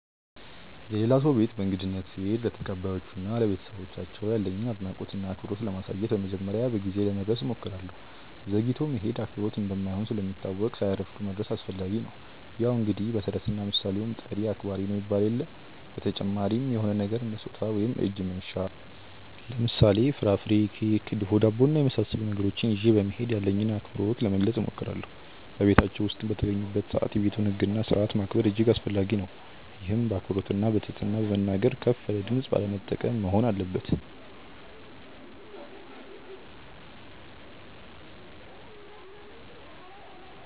የሌላ ሰው ቤት በእንግድነት ስሄድ ለተቀባዮቹ እና ለቤተሰባቸው ያለኝን አድናቆት እና አክብሮት ለማሳየት በመጀመሪያ በጊዜ ለመድረስ እሞክራለሁ። ዘግይቶ መሄድ አክብሮት እንደማይሆን ስለሚታወቅ ሳያረፍዱ መድረስ አስፈላጊ ነው። ያው እንግዲህ በተረትና ምሣሌውም "ጠሪ አክባሪ ነው" ይባል የለ። በተጨማሪም የሆነ ነገር እንደ ስጦታ ወይም እጅ መንሻ ለምሳሌ፦ ፍራፍሬ፣ ኬክ፣ ድፎ ዳቦ እና የመሣሠሉ ነገሮችን ይዤ በመሄድ ያለኝን አክብሮት ለመግለጽ እሞክራለሁ። በቤታቸው ውስጥም በተገኘሁበት ሰዓት የቤቱን ህግ እና ስርዓት ማክበር እጅግ አስፈላጊ ነው፤ ይህም በአክብሮትና በትህትና በመናገር፣ ከፍ ያለ ድምፅ ባለመጠቀም መሆን አለበት።